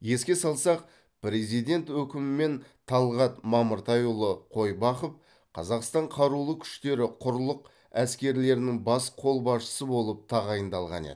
еске салсақ президент өкімімен талғат мамыртайұлы қойбақов қазақстан қарулы күштері құрлық әскерлерінің бас қолбасшысы болып тағайындалған еді